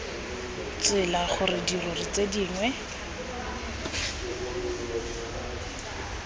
tsela gore dirori tse dingwe